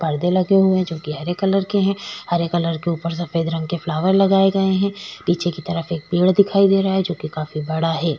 परते लगे हुए हैं जो कि हरे कलर के हैं हरे कलर के ऊपर सफेद रंग के फ्लावर लगाए गए हैं पीछे की तरफ एक पेड़ दिखाई दे रहा है जो कि काफी बड़ा है ।